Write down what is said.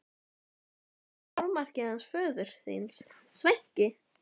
Var þetta ekki fjármarkið hans föður þíns, Sveinki?